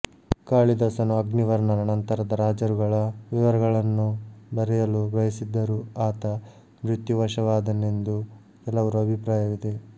ಕಾಳಿದಾಸನು ಅಗ್ನಿವರ್ಣನ ನಂತರದ ರಾಜರುಗಳ ವಿವರಗಳನ್ನೂ ಬರೆಯಲು ಬಯಸಿದ್ದರೂ ಆತ ಮೃತ್ಯುವಶವಾದನೆಂದು ಕೆಲವರು ಅಭಿಪ್ರಾಯವಿದೆ